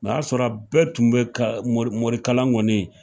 O y'a sɔrɔ bɛɛ tun bɛ ka morikalaN kɔni